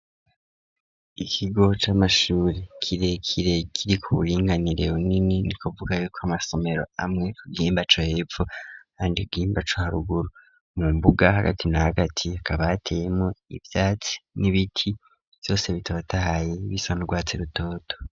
Ikiigo c'amashure kirekire kiri ku buringanire bunini ni kuvugako ar'amasomero amwe ku byimbaco hepfu handi bwimbaco haruguru mu mbuga hagati na hagati hakaba hateyemwo ivyatsi n'ibiti vyose bitabatahaye bisa n'urwatsi rutoto.